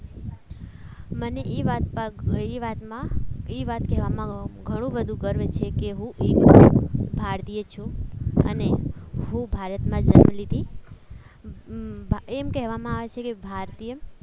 મને એ વાત માં એ એ વાત પર એ વાતમાં એ વાત કહેવામાં ઘણું બધું ગર્વ છે એક હું એક ભારતીય છું અને હું ભારતમાં જન્મ લીધી એમ કહેવામાં આવે છે કે ભારતીય